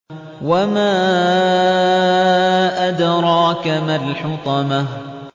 وَمَا أَدْرَاكَ مَا الْحُطَمَةُ